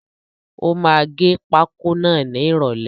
Ó máa gẹ pákó náà ni ìròlẹ́.